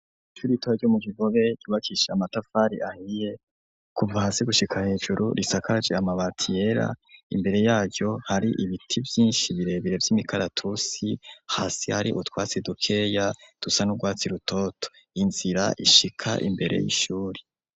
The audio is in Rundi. Ishure ritoya ryo mu kigobe ryubakishije amatafari ahiye kuva hasi gushika hejuru rusakaje amabati yera imbere yaryo hari ibiti vyinshi birebire vy'imikaratusi, hasi hari utwatsi dukeya dusa n'ugwatsi rutoto, inzira ishika imbere y'ishuri.